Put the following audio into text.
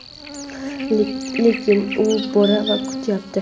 lekin u bor va kutyapti.